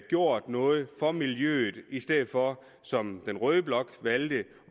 gjort noget for miljøet i stedet for som den røde blok valgte